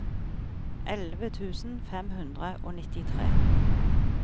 elleve tusen fem hundre og nittitre